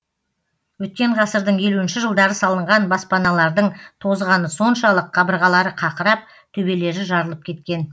өткен ғасырдың елуінші жылдары салынған баспаналардың тозғаны соншалық қабырғалары қақырап төбелері жарылып кеткен